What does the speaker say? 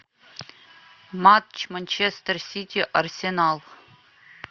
матч манчестер сити арсенал